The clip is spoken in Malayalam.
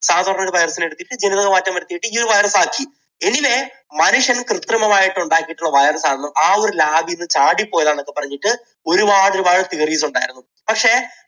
സാധാരണ ഒരു virus നെ എടുത്തിട്ട് ജനിതകമാറ്റം വരുത്തി ഇങ്ങനെ ഒരു virus ആക്കി. anyway മനുഷ്യൻ കൃത്രിമമായിട്ട് ഉണ്ടാക്കിയ ഒരു virus ആണെന്നും ആ ഒരു lab ൽ നിന്നും ചാടിപ്പോയതാണെന്നുമൊക്കെ പറഞ്ഞിട്ട് ഒരുപാട് ഒരുപാട് theories ഉണ്ടായിരുന്നു. പക്ഷേ